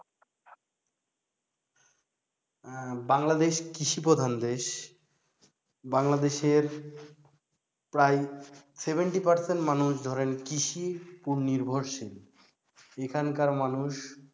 বাংলাদেশ কৃষি প্রধান দেশ বাংলাদেশের প্রায় seventy percent মানুষ ধরেন কৃষির উপর নির্ভরশীল এখানকার মানুষ,